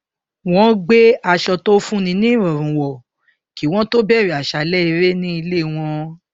wọn gbé aṣọ to fún ni níìrọrùn wọ kí wọn tó bẹrẹ àṣàlẹ eré ní ilé wọn